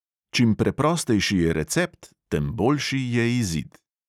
Čim preprostejši je recept, tem boljši je izid.